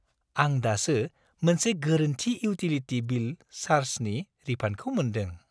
आं दासो मोनसे गोरोन्थि इउटिलिटि बिल चार्जनि रिफान्डखौ मोन्दों।